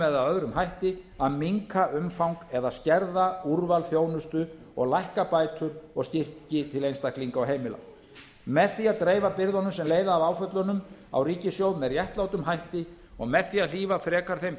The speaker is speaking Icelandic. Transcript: eða öðrum hætti að minnka umfang eða skerða úrval þjónustu og lækka bætur og styrki til einstaklinga og heimila með því að dreifa byrðunum sem leiða af áföllunum á ríkissjóð með réttlátum hætti og með því að hlífa frekar þeim